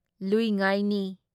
ꯂꯨꯢ ꯉꯥꯢ ꯅꯤ